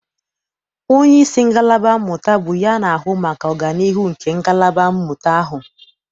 Onyeisi ngalaba mmụta bụ ya na-ahụ maka ọganiihu nke ngalaba mmụta ahụ.